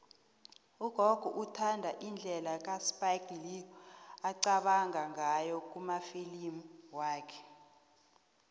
ugogo uthanda indlela uspike lee aqabanga ngayo kumafilimu wakhe